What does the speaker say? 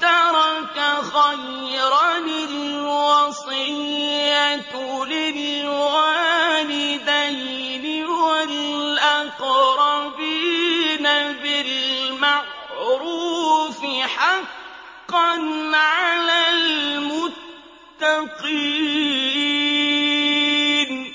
تَرَكَ خَيْرًا الْوَصِيَّةُ لِلْوَالِدَيْنِ وَالْأَقْرَبِينَ بِالْمَعْرُوفِ ۖ حَقًّا عَلَى الْمُتَّقِينَ